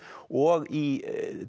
og í